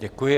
Děkuji.